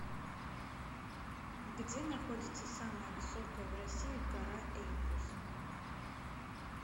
где находится самая высокая в россии гора эльбрус